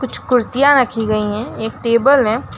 कुछ कुर्सियां रखी गई हैं एक टेबल है।